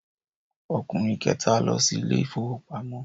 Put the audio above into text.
Ọkùnrin kẹta lọ sí ilé ìfowópamọ́.